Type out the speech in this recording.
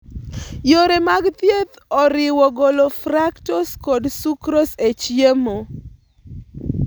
Yore mag thieth oriwo golo fructose kod sucrose e chiemo.